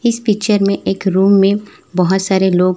इस पिचर में एक रूम में बहोत सारे लोग--